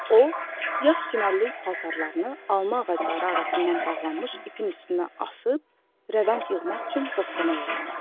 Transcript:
O yaş çimərlik paltarlarını alma ağacları arasından bağlanmış ipin üstünə asıb rəvənd yığmaq üçün bostana yollandı.